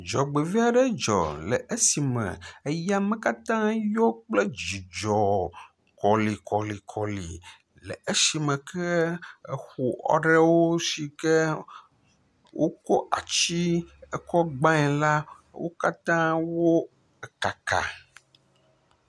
Ɖzɔgbevɔɛ aɖe dzɔ le esime eyame katã yɔ kple dzidzɔ kɔlikɔlikɔli le esime ke exɔ aɖewo sike wokɔ ati kɔ gbae la wo katã wo kaka.